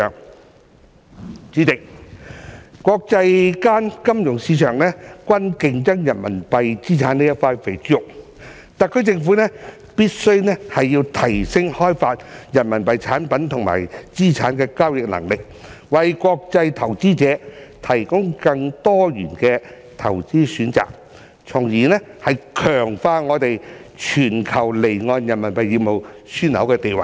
代理主席，國際金融市場均在競爭人民幣資產這塊"肥豬肉"，特區政府必須提升開發人民幣產品與資產的交易能力，為國際投資者提供更多元的投資選擇，從而強化我們全球離岸人民幣業務樞紐的地位。